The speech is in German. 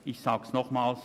Ich sage es nochmals: